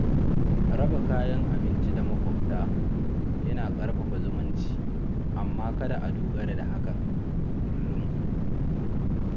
Raba kayan abinci da maƙwabta yana ƙarfafa zumunci, amma kada a dogara da hakan kullum.